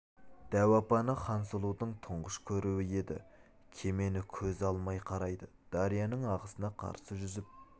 дәу апаны хансұлудың тұңғыш көруі еді кемені көз ала алмай қарайды дарияның ағысына қарсы жүзіп